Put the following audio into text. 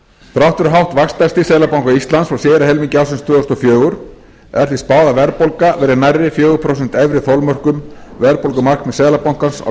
þrátt fyrir hátt vaxtastig seðlabanka íslands frá síðari helmingi ársins tvö þúsund og fjögur er því spáð að verðbólga verði nærri fjögur prósent efri þolmörkum verðbólgumarkmiðs seðlabankans á